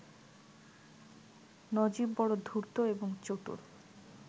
নজীব বড় ধূর্ত এবং চতুর